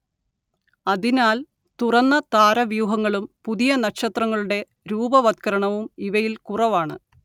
അതിനാൽ തുറന്ന താരവ്യൂഹങ്ങളും പുതിയ നക്ഷത്രങ്ങളുടെ രൂപവത്കരണവും ഇവയിൽ കുറവാണ്